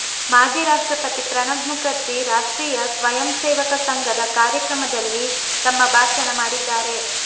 ಮಾಜಿ ರಾಷ್ಟ್ರಪತಿ ಪ್ರಣಬ್ ಮುಖರ್ಜಿ ರಾಷ್ಟ್ರೀಯ ಸ್ವಯಂ ಸೇವಕ ಸಂಘದ ಕಾರ್ಯಕ್ರಮದಲ್ಲಿ ತಮ್ಮ ಭಾಷಣ ಮಾಡಿದ್ದಾರೆ